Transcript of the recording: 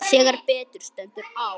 Þegar betur stendur á